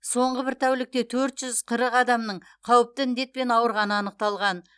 соңғы бір тәулікте төрт жүз қырық адамның қауіпті індетпен ауырғаны анықталған